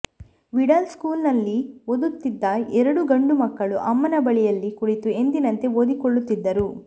middle ಸ್ಕೂಲ್ನಲ್ಲಿ ನಲ್ಲಿ ಓದುತ್ತಿದ್ದ ಎರಡು ಗಂಡು ಮಕ್ಕಳು ಅಮ್ಮನ ಬಳಿಯಲ್ಲಿ ಕುಳಿತು ಎಂದಿನಂತೆ ಓದಿಕೊಳ್ಳುತ್ತಿದ್ದರು